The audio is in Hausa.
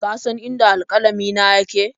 Ka san inda alƙalamina yake?